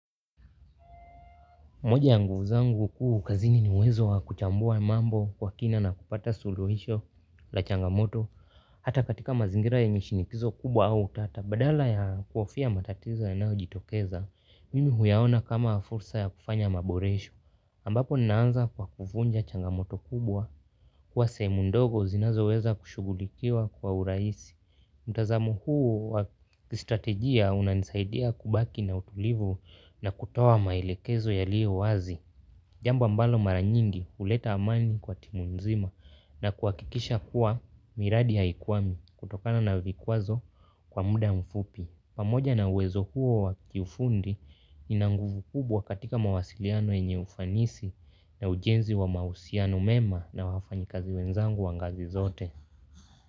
Moja ya nguvu zangu kuu kazini ni uwezo wa kuchambua mambo kwa kina na kupata suluhisho la changamoto. Hata katika mazingira yenye shinikizo kubwa au utata badala ya kuhofia matatizo yanayojitokeza. Mimi huyaona kama fursa ya kufanya maboresho ambapo naanza kwa kuvunja changamoto kubwa kwa sehemu ndogo zinazoweza kushughulikiwa kwa uraisi. Mtazamo huu wa kistrategia unanisaidia kubaki na utulivu na kutoa maelekezo yaliyo wazi. Jamba ambalo mara nyingi huleta amani kwa timu nzima na kuhakikisha kuwa miradi haikwami kutokana na vikwazo kwa muda mfupi. Pamoja na uwezo huo wa kifundi ina nguvu kubwa katika mawasiliano yenye ufanisi na ujenzi wa mahusiano mema na wafanyikazi wenzangu wa ngazi zote.